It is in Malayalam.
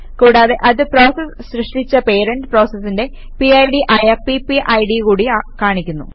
കൂടാതെ അത് പ്രോസസ് സൃഷ്ടിച്ച പേരന്റ് പ്രോസസിന്റെ പിഡ് ആയ പിപിഡ് കൂടി കാണിക്കുന്നു